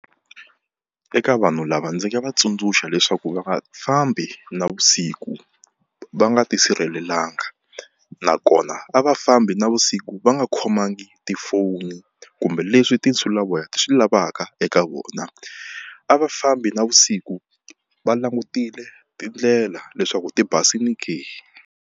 Eka vanhu lava ndzi nga va tsundzuxa leswaku va nga fambi navusiku va nga tisirhelelanga, nakona a va fambi navusiku va nga khomangi hi tifoni kumbe leswi tinsulavoya ti swi lavaka eka vona. A va fambi navusiku va langutile tindlela leswaku tibasile ke?